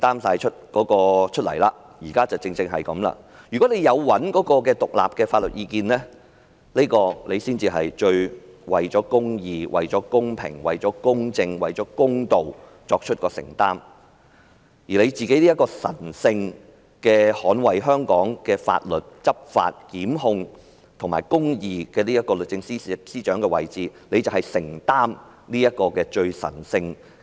如果律政司有尋求獨立的法律意見，才算是最為公義、公平、公正、公道，而她也擔當了神聖地捍衞香港的法律，執法、檢控和維持公義的律政司司長的位置，便要承擔這最神聖的任務。